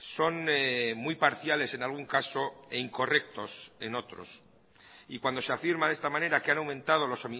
son muy parciales en algún caso e incorrectos en otros y cuando se afirma de esta manera que han aumentado los